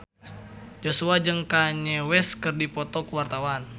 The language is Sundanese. Joshua jeung Kanye West keur dipoto ku wartawan